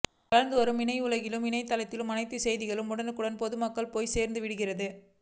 வளர்ந்து வரும் இணையவுலகில் இணையத்திலேயே அனைத்து செய்திகளும் உடனுக்குடன் பொதுமக்களை போய் சேர்ந்துவிடுகிறது